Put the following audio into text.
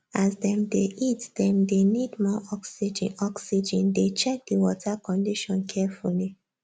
as dem dey eat dem dey need more oxygen oxygen dey check the water condition carefully